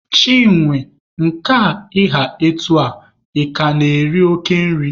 Chinwe, nke a ị ha etu a, ị ka na-eri oke nri?